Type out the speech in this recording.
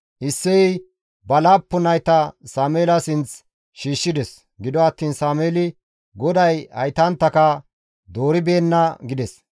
Isseyey ba laappun nayta Sameela sinth shiishshides; gido attiin Sameeli, «GODAY haytanttaka dooribeenna» gides.